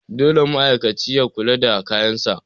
dole ne ma'aikaci ya kula da kayansa